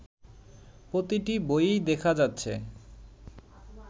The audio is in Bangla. প্রতিটি বইয়েই দেখা যাচ্ছে